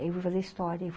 Eu fui fazer história.